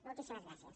moltíssimes gràcies